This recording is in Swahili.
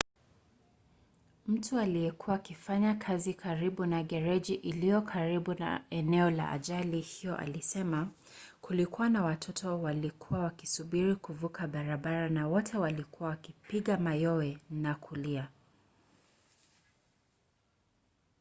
mtu aliyekuwa akifanya kazi karibu na gereji iliyo karibu na eneo la ajali hiyo alisema: kulikuwa na watoto waliokuwa wakisubiri kuvuka barabara na wote walikuwa wakipiga mayowe na kulia.